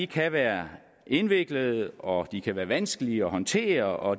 kan være indviklede og de kan være vanskelige at håndtere og